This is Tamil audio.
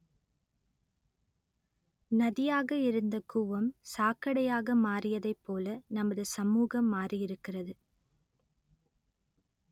நதியாக இருந்த கூவம் சாக்கடையாக மாறியதைப்போல நமது சமூகம் மாறியிருக்கிறது